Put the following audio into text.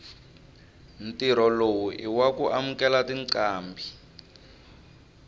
ntirho lowu iwaku amukela tincambi